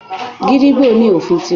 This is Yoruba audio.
Gídígbò ní òfin ti rẹ̀.